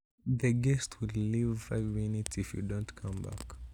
Wendi toondet takika muut komeweguge